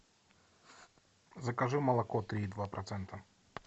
закажи молоко три и два процента